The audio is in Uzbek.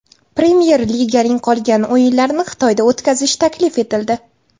Premyer Liganing qolgan o‘yinlarini Xitoyda o‘tkazish taklif etildi.